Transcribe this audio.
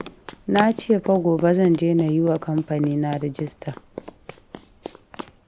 Na ce fa gobe zan je na yi wa kamfanina rajista